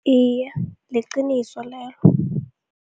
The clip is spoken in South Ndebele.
Iye, liqiniso lelo.